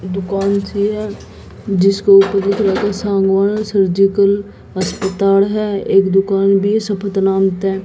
एक दुकान सी है जिसके ऊपर कुछ सामान सर्जिकल अस्पताल है। एक दुकान भी है सप्त नाम से--